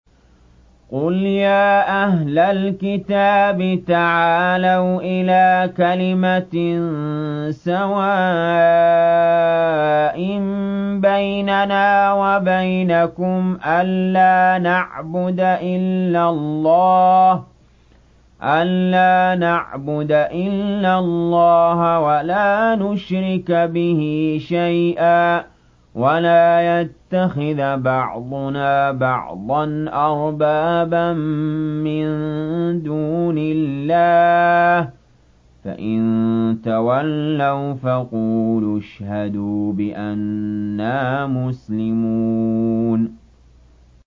قُلْ يَا أَهْلَ الْكِتَابِ تَعَالَوْا إِلَىٰ كَلِمَةٍ سَوَاءٍ بَيْنَنَا وَبَيْنَكُمْ أَلَّا نَعْبُدَ إِلَّا اللَّهَ وَلَا نُشْرِكَ بِهِ شَيْئًا وَلَا يَتَّخِذَ بَعْضُنَا بَعْضًا أَرْبَابًا مِّن دُونِ اللَّهِ ۚ فَإِن تَوَلَّوْا فَقُولُوا اشْهَدُوا بِأَنَّا مُسْلِمُونَ